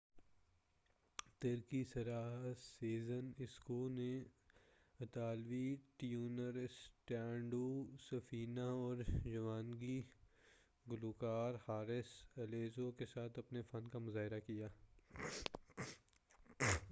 ترکی ساحرہ Sezen Aksu نے اطالوی ٹینور الیسانڈرو سفینہ اور یونانی گلوکار حارث الیزیاؤ کے ساتھ اپنے فن کا مُظاہرہ کیا